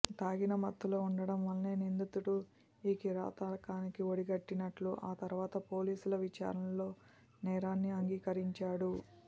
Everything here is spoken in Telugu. తాగిన మత్తులో ఉండటం వల్లే నిందితుడు ఈ కిరాతకానికి ఒడిగట్టినట్టు ఆ తర్వాత పోలీసుల విచారణలో నేరాన్ని అంగీకరించాడు